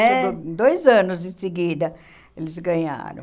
É. Dois anos em seguida eles ganharam.